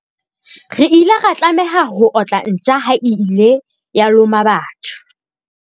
re ile ra tlameha ho otla ntja ha e ile ya loma batho